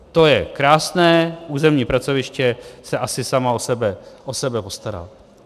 To je krásné, územní pracoviště se asi samo o sebe postará.